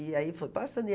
E aí foi passando.